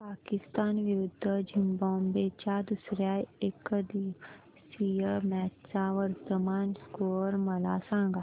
पाकिस्तान विरुद्ध झिम्बाब्वे च्या दुसर्या एकदिवसीय मॅच चा वर्तमान स्कोर मला सांगा